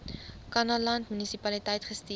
kannaland munisipaliteit gestuur